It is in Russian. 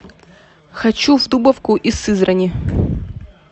хочу в дубовку из сызрани